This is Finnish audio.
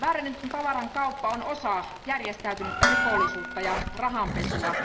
Väärennetyn tavaran kauppa on osa järjestäytynyttä rikollisuutta ja rahanpesua.